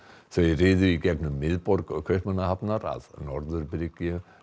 þau riðu í gegnum miðborg Kaupmannahafnar að norðurbryggju